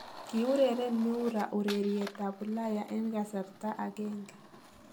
Kiureren Miura ureriet ab ulaya en kasrta agenge.